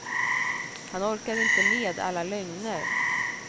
Han orkade inte med alla lögner.